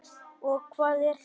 Og hvað er það?